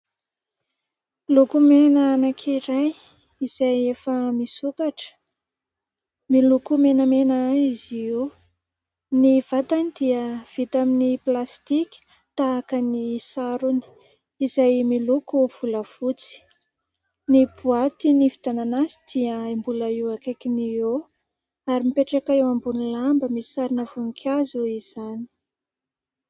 Lokomena anankiray izay efa misokatra, miloko menamena izy io. Ny vatany dia vita amin'ny plastika tahaka ny sarony izay miloko volafotsy. Ny boity nividianana azy dia mbola io akaikiny io eo ary mipetraka eo ambony lamba misy sarina voninkazo izany.